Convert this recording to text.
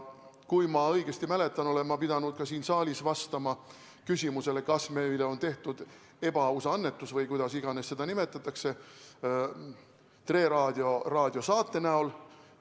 Kui ma õigesti mäletan, olen ma pidanud ka siin saalis vastama küsimusele, kas meile on tehtud ebaaus annetus Tre Raadio saate kujul.